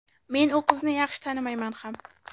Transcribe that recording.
Men u qizni yaxshi tanimayman ham.